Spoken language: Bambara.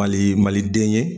Mali maliden ye